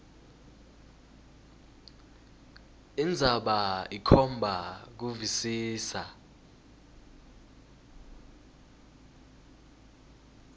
indzaba ikhomba kuvisisa